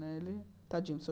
Né tadinho senhor